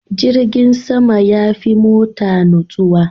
Jirgin sama ya fi mota nutsuwa.